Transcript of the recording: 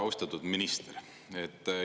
Austatud minister!